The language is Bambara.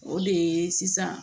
O de ye sisan